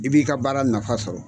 I b'i ka baara nafa sɔrɔ.